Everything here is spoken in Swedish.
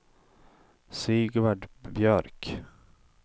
Sigvard Björk